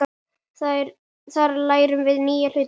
Þar lærum við nýja hluti.